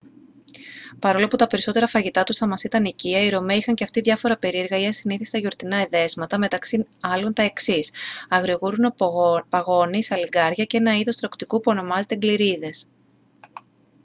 παρόλο που τα περισσότερα φαγητά τους θα μας ήταν οικεία οι ρωμαίοι είχαν και αυτοί διάφορα περίεργα ή ασυνήθιστα γιορτινά εδέσματα μεταξύ άλλων τα εξής αγριογούρουνο παγώνι σαλιγκάρια και ένα είδος τρωκτικού που ονομάζεται γκλιρίδες